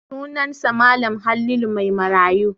Sunansa Mal. Halilu Maimarayu.